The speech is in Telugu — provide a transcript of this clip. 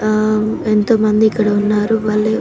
ఆ ఎంతో మంది ఇక్కడ ఉన్నారు మళ్ళీ --